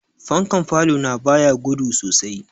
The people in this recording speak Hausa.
Fankan falo na ba ya gudu sosai.